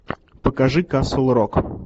покажи касл рок